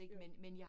Ja